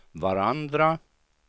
varandra